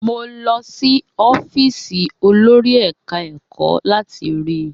Mo lọ sí ọ́fíìsì olòrì eka-eko láti rí i.